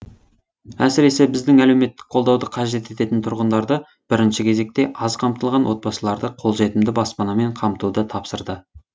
әсіресе біздің әлеуметтік қолдауды қажет ететін тұрғындарды бірінші кезекте аз қамтылған отбасыларды қолжетімді баспанамен қамтуды тапсырды